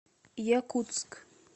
якутск